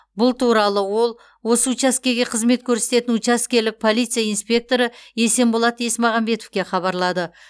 бұл туралы ол осы учаскеге қызмет көрсететін учаскелік полиция инспекторы есенболат есмағамбетовке хабарлады